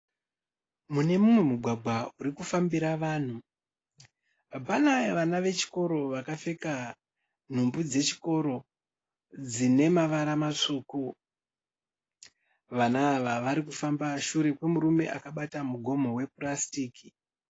Muneumwe mugwagwa uri kufambira vanhu. Pana vana vechikoro vakapfeka nhumbi dzechikoro dzine mavara matsvuku. Vana ava vari kufamba shure kwemurume akabata mugomo wepurasitiki.